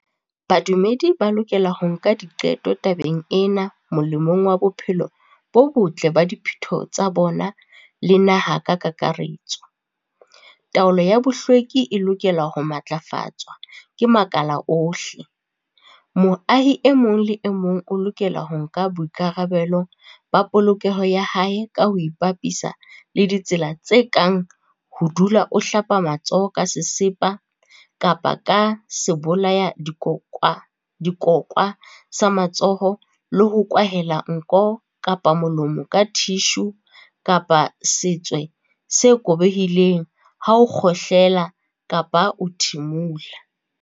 Badumedi ba lokela ho nka diqeto tabeng ena molemong wa bophelo bo botle ba diphutheho tsa bona le naha ka kakaretso. Taolo ya bohlweki e lokela ho matlafatswa ke makala ohle. Moahi e mong le e mong o lokela ho nka boikarabelo ba polokeho ya hae ka ho ipapisa le ditsela tse kang ho dula o hlapa matsoho ka sesepa kapa ka sebolayadikokwa sa matsoho le ho kwahela nko kapa molomo ka thishu kapa ka setswe se kobehileng ha o kgohlela kapa o thimola.